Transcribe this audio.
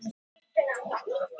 Hvað hafði komið fyrir?